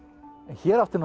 hér átti